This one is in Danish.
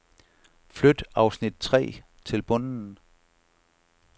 Flyt afsnit tre til bunden.